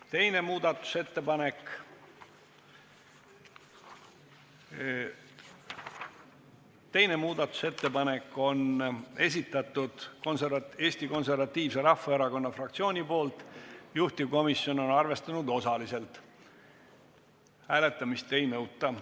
2. muudatusettepaneku on esitanud Eesti Konservatiivse Rahvaerakonna fraktsioon, juhtivkomisjon on seda arvestanud osaliselt ja hääletamist ei nõuta.